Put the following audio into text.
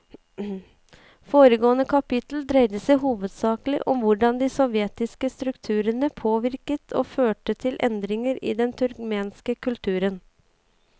Foregående kapittel dreide seg hovedsakelig om hvordan de nye sovjetiske strukturene påvirket og førte til endringer i den turkmenske kulturen.